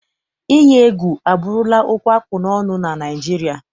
Iyi egwu abụrụla okwu akpụ n'ọnụ na Naịjirịa.